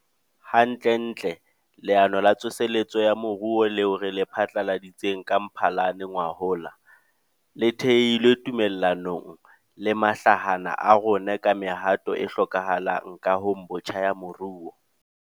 Hantlentle, Leano la Tsoseletso ya Moruo leo re le phatlaladitseng ka Mphalane ngwahola, le thehilwe tumellanong le mahlahana a rona ka mehato e hlokahalang kahong botjha ya moruo.